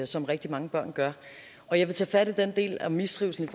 som rigtig mange børn gør jeg vil tage fat i den del af mistrivslen